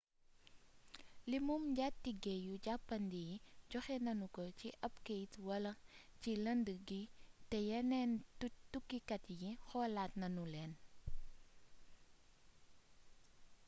limum njaatige yu jàppandi yi joxe nanu ko ci ab keyt wal ci lëndd gi te yeneen tukkikat yi xoolaat nanu leen